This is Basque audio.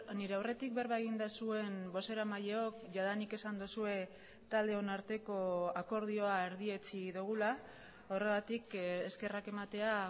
nire aurretik berba egin duzuen bozeramaileok jadanik esan duzue taldeon arteko akordioa erdietsi dugula horregatik eskerrak ematea